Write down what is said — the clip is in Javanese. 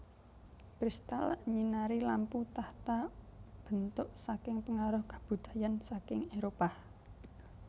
Crystal nyinari lampu tahta bentuk saking pengaruh kabudayan saking Éropah